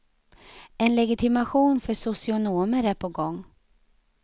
En legitimation för socionomer är på gång.